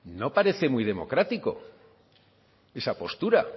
no parece muy democrático esa postura